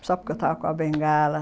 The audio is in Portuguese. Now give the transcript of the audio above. Só porque eu estava com a bengala.